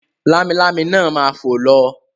Lámilámi náà ma fò lọ.